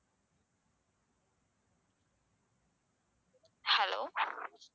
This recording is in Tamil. hello